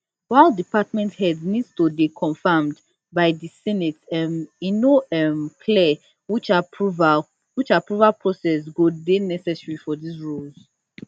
while department heads need to dey confirmed by di senate um e no um clear which approval process go dey necessary for dis roles